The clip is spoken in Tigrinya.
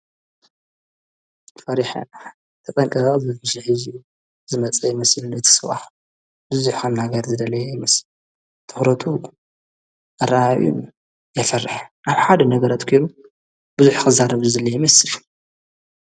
ፈሪሕ ሕ ተጠንቀባ ዘፊሽኂዙዩ ዝመጸ መሲልዶ ይተሰዋሕ ብዙ ሓናገር ዝደለየ ይምስ ተኅረቱ ኣራዩ የፈርሕ ዓብ ሓድ ነገረት ኴይሩ ብዙኅ ኽዛረብዝ ዝለ ይምስል።